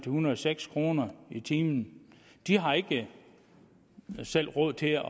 hundrede og seks kroner i timen de har ikke selv råd til at